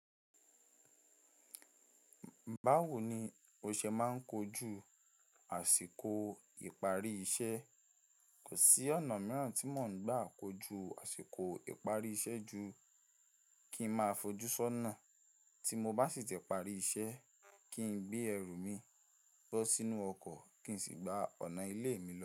Báwo ni o ṣe máa ń kojú àsìkò ìparí iṣẹ́ kò sí ọ̀nà mìíràn tí mò ń gbà kojú àsìkò ìparí iṣẹ́ ju kí ń máa fojú sọ́nà tí mo bá ṣìti parí iṣẹ́, kí n gbé ẹrù mi bọ́ sínú ọkọ̀ kí n sì gba ọ̀nà ilé mi lọ.